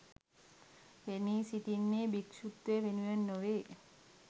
පෙනී සිටින්නේ භික්‍ෂුත්වය වෙනුවෙන් නොවේ